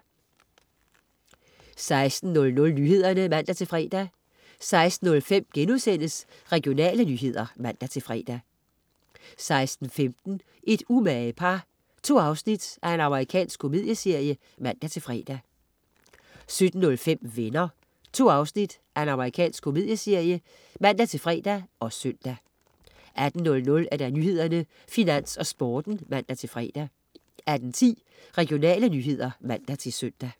16.00 Nyhederne (man-fre) 16.05 Regionale nyheder* (man-fre) 16.15 Et umage par. 2 afsnit Amerikansk komedieserie (man-fre) 17.05 Venner. 2 afsnit Amerikansk komedieserie (man-fre og søn) 18.00 Nyhederne, Finans og Sporten (man-fre) 18.10 Regionale nyheder (man-søn)